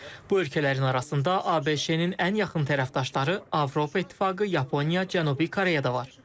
Bu ölkələrin arasında ABŞ-ın ən yaxın tərəfdaşları Avropa İttifaqı, Yaponiya, Cənubi Koreya da var.